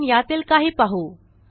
आपण यातील काही पाहू